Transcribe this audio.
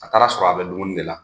A taara sɔrɔ a be dumuni de la.